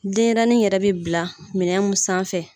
Denɲɛrɛnin yɛrɛ bɛ bila minɛn mun sanfɛ.